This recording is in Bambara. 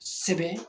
Sɛbɛn